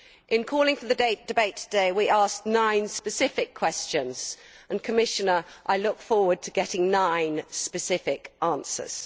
In calling for the debate today, we asked nine specific questions and, Commissioner, I look forward to getting nine specific answers.